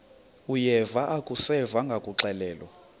uyeva akuseva ngakuxelelwa